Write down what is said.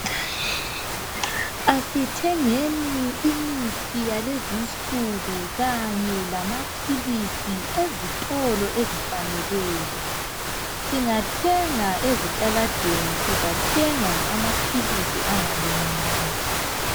Kasithengeni imithi yakulezi insuku kanye lamapills ezitolo ezifaneleyo singa thenga ezitaladeni sizathenga amapills angalunganga